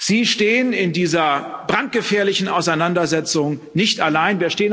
Sie stehen in dieser brandgefährlichen Auseinandersetzung nicht allein.